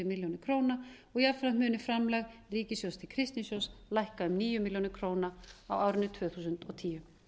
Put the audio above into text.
milljónir króna og jafnframt muni framlag ríkissjóðs til kristnisjóðs lækka um níu milljónir króna á árinu tvö þúsund og tíu